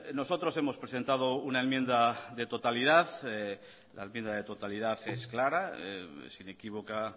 nosotros hemos presentado una enmienda de totalidad la enmienda de totalidad es clara es inequívoca